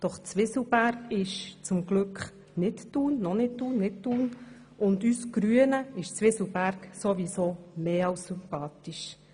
Doch Zwie selberg ist zum Glück nicht Thun, und uns Grünen ist Zwieselberg ohnehin mehr als sympathisch.